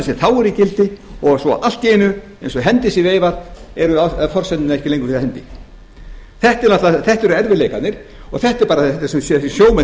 sem þá eru í gildi og svo allt í einu eins og hendi sé veifað eru forsendurnar ekki lengur fyrir hendi þetta eru erfiðleikarnir og þetta er það sem sjómenn